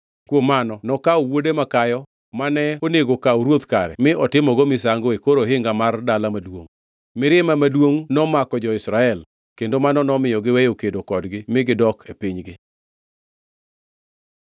Kuom mano nokawo wuode makayo, mane onego okaw ruoth kare mi otimogo misango e kor ohinga mar dala maduongʼ. Mirima maduongʼ nomako jo-Israel; kendo mano nomiyo giweyo kedo kodgi mi gidok e pinygi.